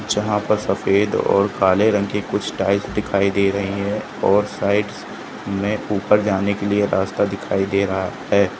जहां पर सफेद और काले रंग के कुछ टाइल्स दिखाई दे रही है और साइट्स में ऊपर जाने के लिए रास्ता दिखाई दे रहा है।